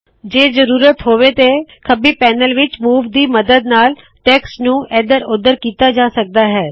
ਜੇ ਜ਼ਰੂਰਤ ਹੋਵੇ ਤੇ ਖੱਬੀ ਪੈਨਲ ਵਿੱਚ ਮੂਵ ਦੀ ਮੱਦਦ ਨਾਲ ਟੈਕਸਟ ਨੂੰ ਇੱਧਰ ਉੱਧਰ ਕੀਤਾ ਜਾ ਸਕਦਾ ਹੈ